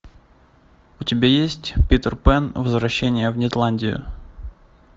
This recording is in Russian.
у тебя есть питер пэн возвращение в нетландию